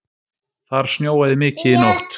Þar snjóaði mikið í nótt